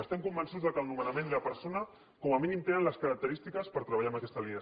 estem convençuts que el nomenament i la persona com a mínim tenen les característiques per treballar en aquesta línia